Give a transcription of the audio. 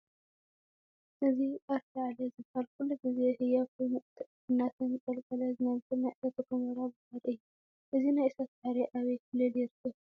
እዚ ኣርታዕለ ዝበሃል ኩሉ ግዜ ህያው ኮይኑ እናተንቀልቀለ ዝነብር ናይ እሳተ ጐመራ ባሕሪ እዩ፡፡ እዚ ናይ እሳት ባሕሪ ኣበይ ክልል ይርከብ?